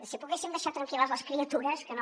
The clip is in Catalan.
si poguéssim deixar tranquil·les les criatures que no